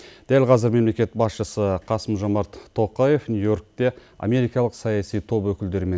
дәл қазір мемлекет басшысы қасым жомарт тоқаев нью йоркте америкалық саяси топ өкілдерімен